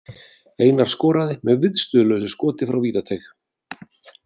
Einar skoraði með viðstöðulausu skoti frá vítateig.